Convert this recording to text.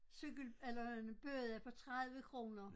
Cykel eller en bøde på 30 kroner